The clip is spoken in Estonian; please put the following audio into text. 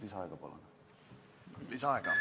Lisaaega?